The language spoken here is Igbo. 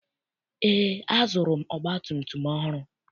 Eé, azụrụ m ọgbatumtum ọhụrụ.